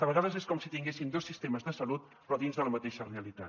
a vegades és com si tinguéssim dos sistemes de salut però dins de la mateixa realitat